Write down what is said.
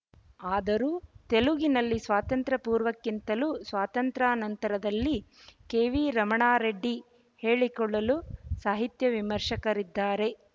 ಆದರೂ ತೆಲುಗಿನಲ್ಲಿ ಸ್ವಾತಂತ್ರ್ಯ ಪೂರ್ವಕ್ಕಿಂತಲೂ ಸ್ವಾತಂತ್ರ್ಯಾನಂತರದಲ್ಲಿ ಕೆವಿರಮಣಾರೆಡ್ಡಿ ಹೇಳಿಕೊಳ್ಳಬಲ್ಲ ಸಾಹಿತ್ಯ ವಿಮರ್ಶಕರಿದ್ದಾರೆ